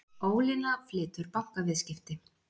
Ólína flytur bankaviðskipti